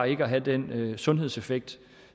ikke at have den sundhedseffekt